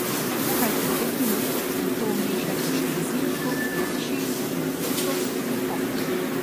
Kuhajte pet minut, nato vmešajte še baziliko, peteršilj, limonov sok in poper.